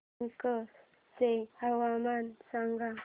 बांका चे हवामान सांगा